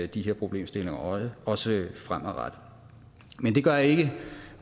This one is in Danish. de her problemstillinger også fremadrettet men det gør ikke